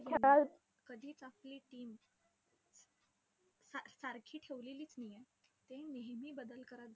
कधीच आपली team सा~ सारखी ठेवलेलीच नाहीये. ते नेहमी बदल करत~